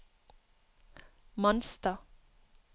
Manstad